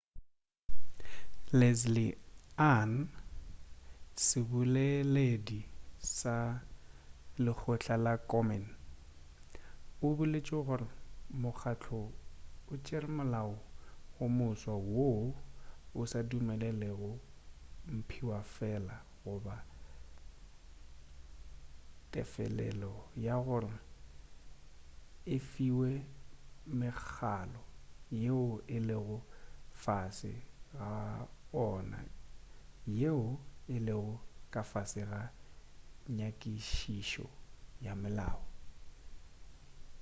leslie aun seboleleldi sa lekgotla la komen o boletše gore mokgahlo o tšere molao o moswa woo o sa dumelelego mphiwafela goba tefelelo gore e fiwe mekhalo yeo e lego ka fase ga ona yeo e lego ka fase ga nyakišišo ya molao